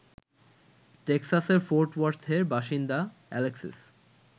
টেক্সাসের Fort ওর্থের বাসিন্দা Alexis